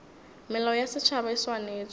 melao ya setšhaba e swanetše